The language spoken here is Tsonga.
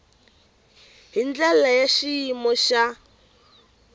hi ndlela ya xiyimo xa